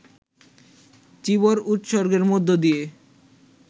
চীবর উৎসর্গের মধ্য দিয়ে